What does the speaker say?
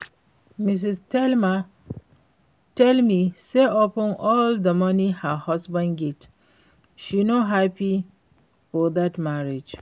Mrs. Thelma tell me say upon all the money her husband get, she no happy for dat marriage